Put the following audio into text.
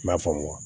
I m'a faamu wa